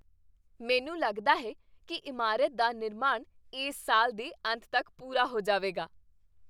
ਮੈਨੂੰ ਲੱਗਦਾ ਹੈ ਕੀ ਇਮਾਰਤ ਦਾ ਨਿਰਮਾਣ ਇਸ ਸਾਲ ਦੇ ਅੰਤ ਤੱਕ ਪੂਰਾ ਹੋ ਜਾਵੇਗਾ।